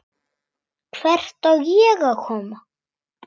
Hvert á ég að koma?